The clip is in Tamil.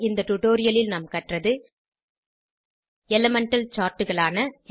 இந்த டுடோரியலில் நாம் கற்றது எலிமெண்டல் சார்ட் களான 1